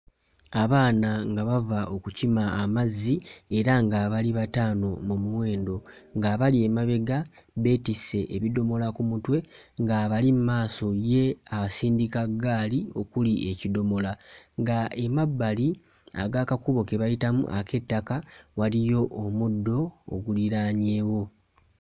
Abaana nga bava okukima amazzi era nga abali bataano mu muwendo ng'abali emabega beetisse ebidomola ku mutwe ng'abali mmaaso ye asindika ggaali okuli ekidomola nga emabbali ag'akakubo ke bayitamu ak'ettaka waliyo omuddo oguliraanyeewo.